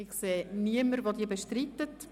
– Ich sehe niemanden, der die Motion bestreitet.